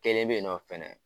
Kelen bɛ yen nɔ fɛnɛ